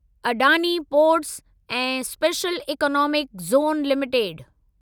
Adani ports ऐं special economic zone limited